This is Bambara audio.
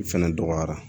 Fɛnɛ dɔgɔyara